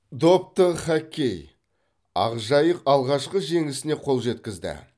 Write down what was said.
допты хоккей ақжайық алғашқы жеңісіне қол жеткізді